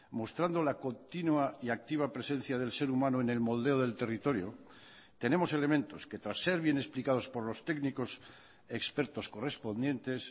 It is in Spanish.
mostrando la continua y activa presencia del ser humano en el moldeo del territorio tenemos elementos que tras ser bien explicados por los técnicos expertos correspondientes